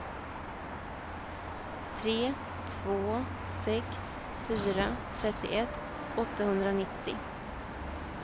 tre två sex fyra trettioett åttahundranittio